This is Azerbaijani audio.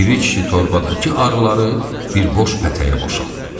Piri kişi torbadakı arıları bir boş pətəyə boşaltdı.